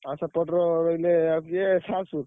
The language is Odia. ଆଉ ସେପଟର ରହିଲେ ଆଉ କିଏ ସାଂଶୁ।